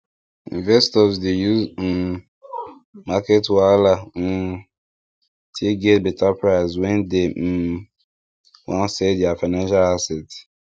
investors dey use um market wahala um take get better price when dem um wan sell their financial asset